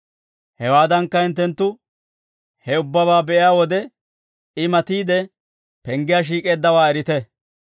Hewaadankka, hinttenttu he ubbabaa be'iyaa wode, I matiide penggiyaa shiik'eeddawaa erite.